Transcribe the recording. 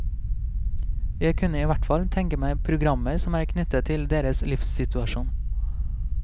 Jeg kunne i hvert fall tenke meg programmer som er knyttet til deres livssituasjon.